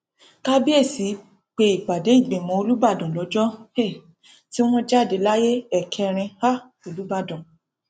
kábíésì pe ìpàdé ìgbìmọ olùbàdàn lọjọ um tí wọn jáde láyé ẹkẹrin um olùbàdàn